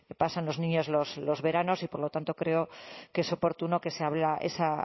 pasan los niños los veranos y por lo tanto creo que es oportuno que se abra esa